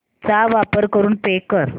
चा वापर करून पे कर